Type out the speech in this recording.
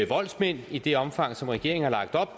voldsmænd i det omfang som regeringen har lagt op